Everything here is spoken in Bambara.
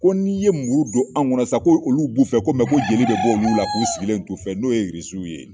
Ko n'i ye muru don, an ŋɔnɔ san, ko olu b'u fɛ, ko ko joli bɛ bɔ olu la k'u sigilen t'o fɛ n'u ye ye.